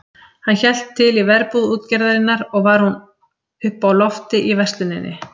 Hann hélt til í verbúð útgerðarinnar og var hún uppi á lofti í versluninni.